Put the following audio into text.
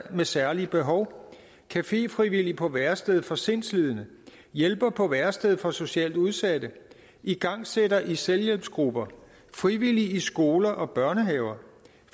med særlige behov caféfrivillig på værestedet for sindslidende hjælper på værestedet for socialt udsatte igangsætter i selvhjælpsgrupper frivillig i skoler og børnehaver